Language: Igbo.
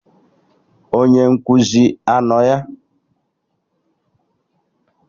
Onye nkụzi anọ ya?